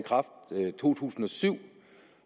to tusind og syv